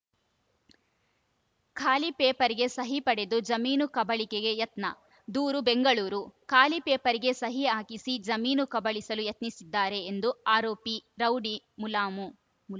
ಖಾಲಿ ಪೇಪರ್‌ಗೆ ಸಹಿ ಪಡೆದು ಜಮೀನು ಕಬಳಿಕೆಗೆ ಯತ್ನ ದೂರು ಬೆಂಗಳೂರು ಖಾಲಿ ಪೇಪರ್‌ಗೆ ಸಹಿ ಹಾಕಿಸಿ ಜಮೀನು ಕಬಳಿಸಲು ಯತ್ನಿಸಿದ್ದಾರೆ ಎಂದು ಆರೋಪಿ ರೌಡಿ ಮುಲಾಮು